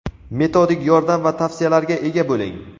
metodik yordam va tavsiyalarga ega bo‘ling.